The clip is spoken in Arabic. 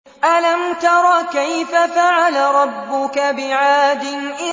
أَلَمْ تَرَ كَيْفَ فَعَلَ رَبُّكَ بِعَادٍ